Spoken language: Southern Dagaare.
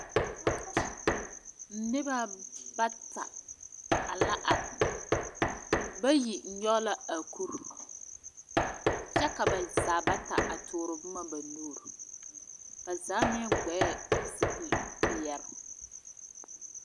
Noba bata la are. Bayi nyɔge la kure kyɛ ka ba zaa bata a tɔɔre nuwuure. Ba zaa vɔgle la zupilpeɛle.